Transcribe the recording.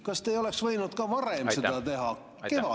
Kas te ei oleks võinud seda ka varem teha, näiteks kevadel?